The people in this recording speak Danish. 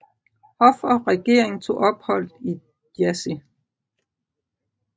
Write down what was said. Hof og regering tog ophold i Jassy